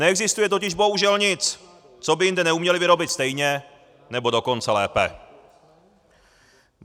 Neexistuje totiž bohužel nic, co by jinde neuměli vyrobit stejně, nebo dokonce lépe.